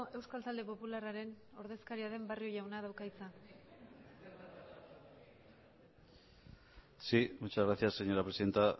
euskal talde popularraren ordezkaria den barrio jaunak dauka hitza sí muchas gracias señora presidenta